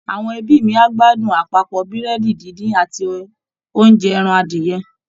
Àwọn ẹbí mi á gbádùn àpapọ̀ Búrẹ́dì díndín àti oúnjẹ ẹran adìyẹ